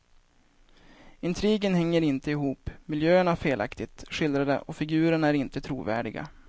Intrigen hänger inte ihop, miljöerna felaktigt skildrade och figurerna är inte trovärdiga.